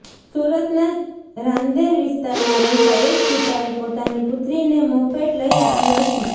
સુરતના રાંદેર વિસ્તારમાં રહેતા એક પિતાએ પોતાની પુત્રીને મોપેડ લઇ આપી હતી